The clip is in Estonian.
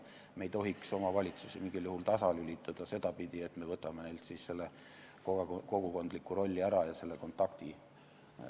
Me ei tohiks omavalitsusi mingil juhul tasalülitada sedapidi, et me võtame neilt ära selle kogukondliku rolli ja selle kontakti.